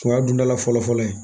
O y'a don dala fɔlɔ fɔlɔ ye